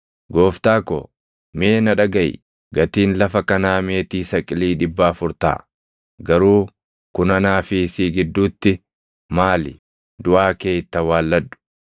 “Gooftaa ko, mee na dhagaʼi; gatiin lafa kanaa meetii saqilii dhibba afur taʼa; garuu kun anaa fi si gidduutti maali? Duʼaa kee itti awwaalladhu.”